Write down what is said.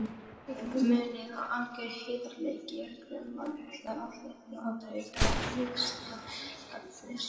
Munið að alger heiðarleiki er grundvallaratriði til að listinn gagnist.